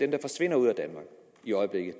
der forsvinder ud af danmark i øjeblikket